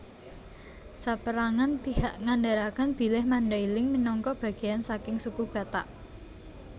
Sapérangan pihak ngandharaken bilih Mandailing minangka bagéyan saking Suku Batak